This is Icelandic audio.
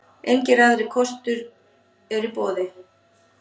Engir aðrir kostur eru í boði.